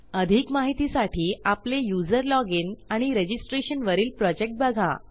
अधिक माहितीसाठी आपले यूझर लॉजिन आणि रजिस्ट्रेशन वरील प्रॉजेक्ट बघा